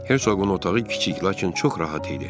Hercoqun otağı kiçik, lakin çox rahat idi.